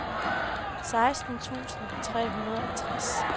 seksten tusind tre hundrede og tres